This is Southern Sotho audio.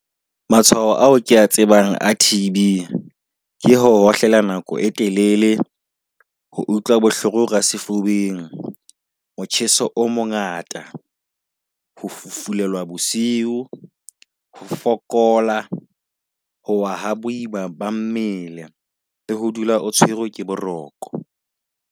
Matshwao ao kea tsebang a TB, Ke hohlela nako e telele ho utlwa bohloko ka sefubeng, motjheso o mongata. Ho fufulelwa bosiu, ho fokola, ho wa ha boima ba mmele le ho dula o tshwerwe ke boroko.